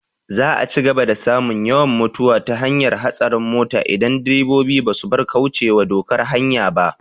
Za a cigaba da samun yawan mutuwa ta hanyar hatsarin mota in direbobi ba su bar kaucewa dokar hanya ba